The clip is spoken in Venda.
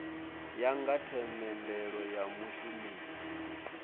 ya nga themendelo ya mushumeli